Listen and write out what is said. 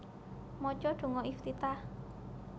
Maca donga Iftitah